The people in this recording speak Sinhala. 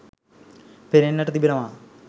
පෙනෙන්නට තිබෙනවා.